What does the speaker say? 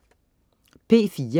P4: